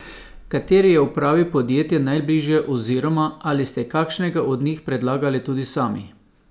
Kateri je upravi podjetja najbližje oziroma ali ste kakšnega od njih predlagali tudi sami?